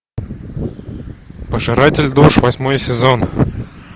пожиратель душ восьмой сезон